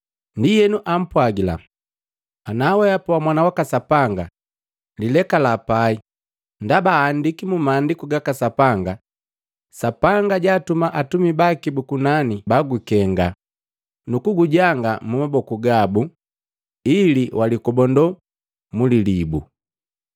Ndienu ampwagila, “Ana wehapa wa Mwana waka Sapanga, lilekala pai, ndaba aandiki mu Maandiku gaka Sapanga, ‘Sapanga jaatuma atumi baki bu kunani bagukenga, nu kugujanga mumaboku gabu, ili walikobando kwaku mu lilibu.’ ”